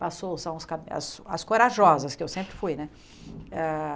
Passou, são os as corajosas, que eu sempre fui, né? Eh